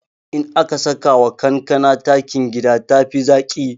In aka sakawa kankana takin gida tafi zaƙi